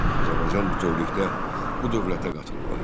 Azərbaycan bütövlükdə bu dövlətə qatılmalı idi.